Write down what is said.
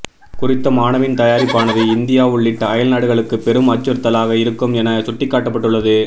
குறித்த மாணவின் தயாரிப்பானது இந்தியா உள்ளிட்ட அயல்நாடுகளுக்கு பெரும் அச்சுறுத்தலாக இருக்கும் என சுட்டிக்காட்டப்பட்டுள்ளது